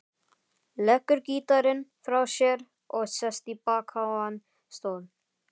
Leggur gítarinn frá sér og sest í bakháan stól.